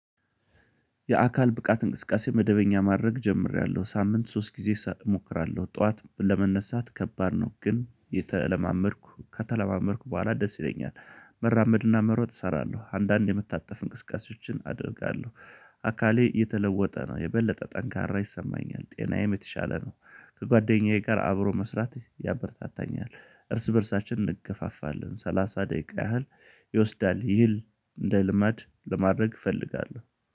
የአካል ብቃት እንቅስቃሴ መደበኛ ማድረግ ጀምሬያለሁ ሳምንት ሶስት ጊዜ እሞክራለሁ ጠዋት ለመነሳት ከባድ ነው ግን የተለማመድኩ ከተለማመድኩ በኋላ ደስ ይለኛል። መራመድና መሮጥ እሰራለሁ አንዳንዴ የመታጠፍ እንቅስቃሴዎችን አደርጋለሁ። አካሌ የተለወጠ ነው የበለጠ ጠንካራ ይሰማኛል ጤናዬም የተሻለ ነው። ከጓደኛዬ ጋር አብሮ መስራት ያበረታታኛል። እርስ በእርሳችን እንገፋፋለን ሰላሳ ደቂቃ ያህል ይወስዳል። ይህን እንደ ልማድ ለማድረግ እፈልጋለሁ